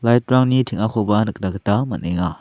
lait rangni teng·akoba nikna gita man·enga.